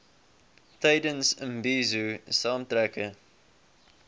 tydens imbizo saamtrekke